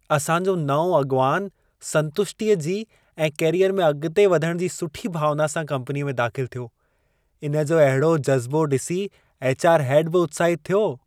असां जो नओं अॻिवान संतुष्टीअ जी ऐं कैरियर में अॻिते वधण जी सुठी भावना सां कम्पनीअ में दाख़िल थियो। इन जी अहिड़ो जज़्बो ॾिसी एच.आर. हैड बि उत्साहितु थियो।